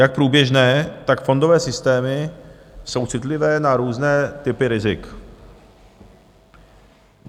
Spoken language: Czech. Jak průběžné, tak fondové systémy jsou citlivé na různé typy rizik.